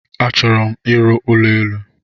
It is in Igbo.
A chọrọ m ịrụ ụlọ élú.